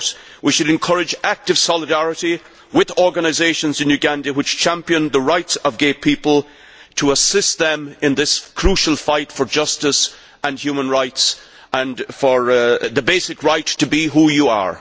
We should encourage active solidarity with organisations in Uganda which champion the rights of gay people, to assist them in this crucial fight for justice and human rights, and for the basic right to be who you are.